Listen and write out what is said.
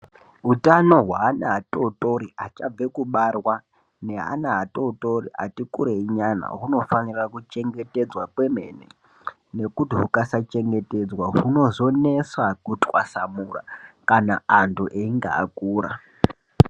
Hutano hweana atotori achangobva kubarwa neana atotori ati kurei hunofanira kuchengetedzwa kwemene nekuti hukasachengetedzwa kunozonetsa kutwasamura kana antu einga akura.